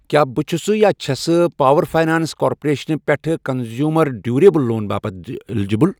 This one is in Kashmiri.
کیٛاہ بہٕ چھُسہٕ یا چھَسہٕ پاوَر فاینانٛس کارپوریشن پٮ۪ٹھٕ کنٛزیٛوٗمر ڈیٛوٗریبٕل لون باپتھ الیجبل؟